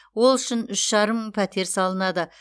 ол үшін үш жарым мың пәтер салынады